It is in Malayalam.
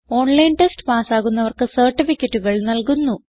ഓൺലൈൻ ടെസ്റ്റ് പാസ്സാകുന്നവർക്ക് സർട്ടിഫികറ്റുകൾ നല്കുന്നു